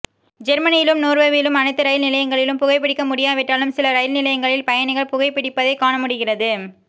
ஜெர்மனிலும் நோர்வேவிலும் அணைத்து ரயில் நிலையங்களிலும் புகைபிடிக்க முடியாவிட்டாலும் சில ரயில் நிலையங்களில் பயணிகள் புகைபிடிப்பதை காண முடிகிறது